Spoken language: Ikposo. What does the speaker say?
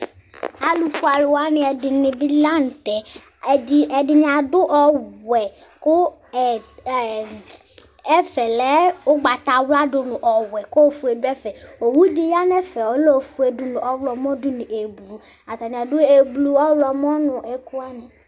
ɑlufuɛlu wɑni ɛdibi lɑnuté ɛdiniadu ɔwuɛ ku ɛɛ ɛfɛlɛ ukpɑtɑwla dunu ɔwɛ ku ɔfuɛ duɛfɛ ɔwu diyɑnɛfɛ dunu ɔhlomo dunu ɛblu ɑtɑni ɑdu ɛblu ɔhlomo nɛkuwɑni